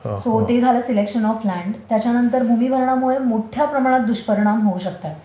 So ते झालं selection of land. त्याच्यानंतर भूमीभरणामुळे मोठ्या प्रमाणात दुष्परिणाम होऊ शकतात.